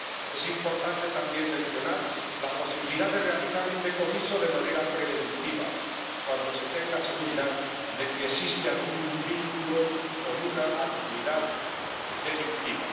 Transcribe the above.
Es importante también mencionar la posibilidad de realizar un decomiso de manera preventiva cuando se tenga seguridad de que existe algún vínculo con una actividad delictiva